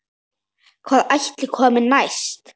Hvað ætli komi næst?